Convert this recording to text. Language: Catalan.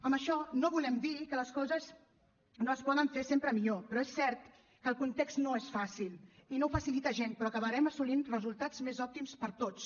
amb això no volem dir que les coses no es poden fer sempre millor però és cert que el context no és fàcil i no ho facilita gens però acabarem assolint resultats més òptims per a tots